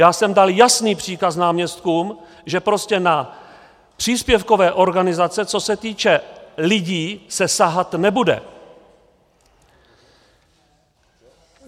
Já jsem dal jasný příkaz náměstkům, že prostě na příspěvkové organizace, co se týče lidí, se sahat nebude.